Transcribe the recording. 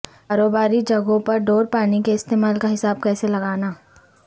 کاروباری جگہوں پر ڈور پانی کے استعمال کا حساب کیسے لگانا